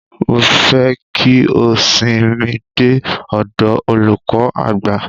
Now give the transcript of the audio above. Mofẹ́ ki o sìn mi dé ọdọ olùkọ àgbà.